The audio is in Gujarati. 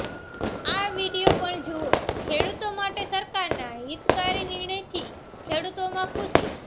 આ વીડિયો પણ જુઓઃ ખેડૂતો માટે સરકારના હિતકારી નિર્ણયથી ખેડૂતોમાં ખુશી